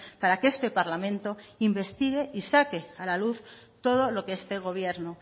para que este parlamento investigue y saque a la luz todo lo que este gobierno